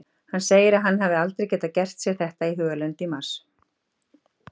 Hann segir að hann hafi aldrei getað gert sér þetta í hugarlund í mars.